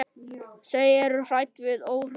Þau eru hrædd og óörugg.